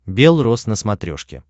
белрос на смотрешке